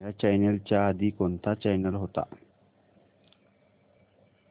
ह्या चॅनल च्या आधी कोणता चॅनल होता